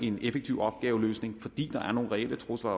en effektiv opgaveløsning fordi der er nogle reelle trusler